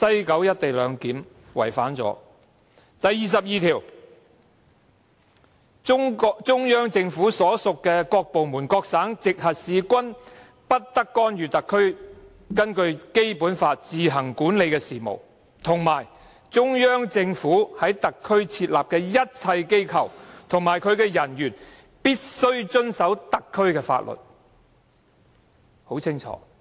《基本法》第二十二條訂明，中央人民政府所屬各部門、各省、直轄市均不得干預特區根據《基本法》自行管理的事務，以及中央政府在特區設立的一切機構及其人員必須遵守特區的法律，這是很清楚的規定。